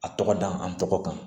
A tɔgɔ da an tɔgɔ kan